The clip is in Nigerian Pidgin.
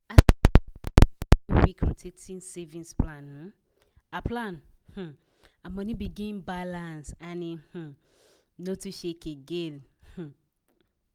her plan um her money begin balance and e um no too shake again um